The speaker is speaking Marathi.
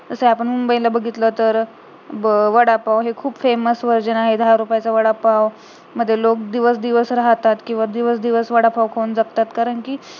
तसं आपण मुंबई ला बघितलं तर वडापाव हे खूप famous version आहे दहा रुपयाचा वडापाव मध्ये लोक दिवस दिवस राहतात, दिवस दिवस वडापाव खाऊन जगतात कारण कि